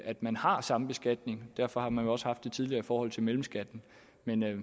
at man har sambeskatning og derfor har man jo også haft det tidligere i forhold til mellemskatten men